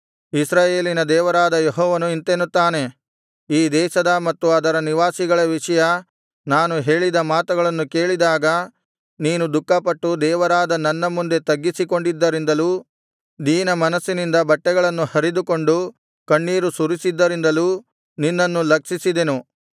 ಇಸ್ರಾಯೇಲಿನ ದೇವರಾದ ಯೆಹೋವನು ಇಂತೆನ್ನುತ್ತಾನೆ ಈ ದೇಶದ ಮತ್ತು ಅದರ ನಿವಾಸಿಗಳ ವಿಷಯ ನಾನು ಹೇಳಿದ ಮಾತುಗಳನ್ನು ಕೇಳಿದಾಗ ನೀನು ದುಃಖಪಟ್ಟು ದೇವರಾದ ನನ್ನ ಮುಂದೆ ತಗ್ಗಿಸಿಕೊಂಡಿದ್ದರಿಂದಲೂ ದೀನಮನಸ್ಸಿನಿಂದ ಬಟ್ಟೆಗಳನ್ನು ಹರಿದುಕೊಂಡು ಕಣ್ಣೀರು ಸುರಿಸಿದ್ದರಿಂದಲೂ ನಿನ್ನನ್ನು ಲಕ್ಷಿಸಿದೆನು